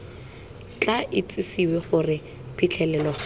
tla itsisiwe gore phitlhelelo ga